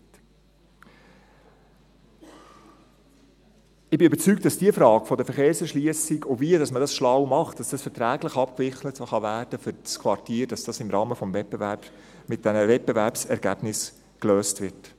Darum bin ich überzeugt, dass die Frage der Verkehrserschliessung, und wie man das schlau macht, damit das verträglich abgewickelt werden kann für das Quartier, im Rahmen des Wettbewerbs mit diesen Wettbewerbsergebnissen gelöst wird.